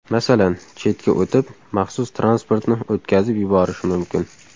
Masalan, chetga o‘tib, maxsus transportni o‘tkazib yuborishi mumkin.